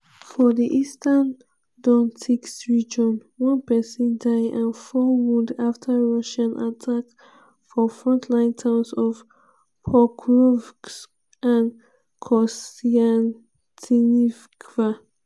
for di eastern donetsk region one pesin die and four wound afta russian attack for frontline towns of pokrovsk and kostyantynivka.